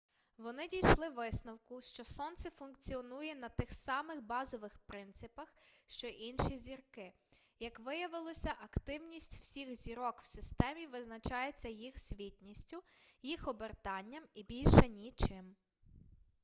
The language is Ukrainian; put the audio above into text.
вони дійшли висновку що сонце функціонує на тих самих базових принципах що й інші зірки як виявилося активніть всіх зірок в системі визначається їх світністю їх обертанням і більше нічим